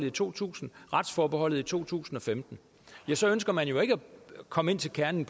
i to tusind og retsforbeholdet i to tusind og femten så ønsker man jo ikke at komme ind til kernen